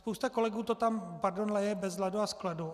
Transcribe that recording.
Spousta kolegů to tam - pardon - lije bez ladu a skladu.